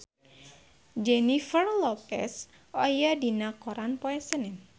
Jennifer Lopez aya dina koran poe Senen